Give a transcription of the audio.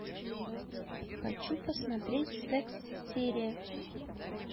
хочу посмотреть секс серия